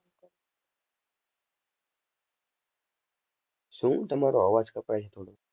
શું તમારો અવાજ કપાય છે થોડો.